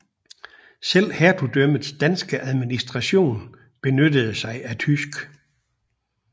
Selv hertugdømmets danske administration benyttede sig af tysk